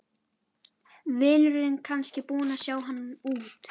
Vinurinn kannski búinn að sjá hann út.